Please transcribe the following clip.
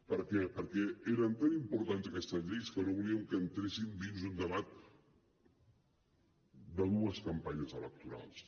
per què perquè eren tan importants aquestes lleis que no volíem que entressin dins un debat de dues campanyes electorals